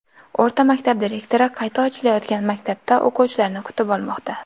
O‘rta maktab direktori qayta ochilayotgan maktabda o‘quvchilarni kutib olmoqda.